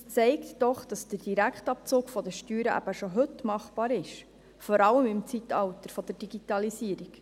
Dies zeigt doch, dass der Direktabzug von den Steuern schon heute machbar ist, vor allem im Zeitalter der Digitalisierung.